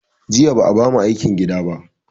Jiya ba a ba mu aikin gida ba